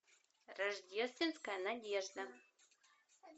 рождественская надежда